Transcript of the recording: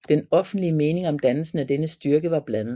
Den offentlige mening om dannelsen af denne styrke var blandet